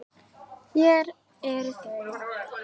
Hér eru þau